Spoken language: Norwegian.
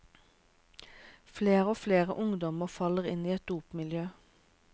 Flere og flere ungdommer faller inn i et dopmiljø.